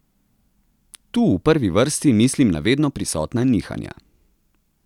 Tu v prvi vrsti mislim na vedno prisotna nihanja.